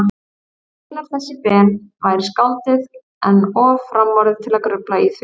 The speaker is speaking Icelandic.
Einar þessi Ben væri skáldið, en of framorðið til að grufla í því.